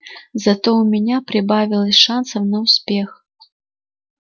зато у меня прибавилось шансов на успех